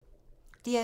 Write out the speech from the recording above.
DR2